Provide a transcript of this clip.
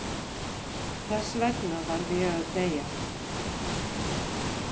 Þess vegna varð ég að deyja.